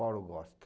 Paulo gosta.